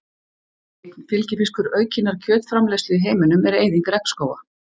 Einn fylgifiskur aukinnar kjötframleiðslu í heiminum er eyðing regnskóga.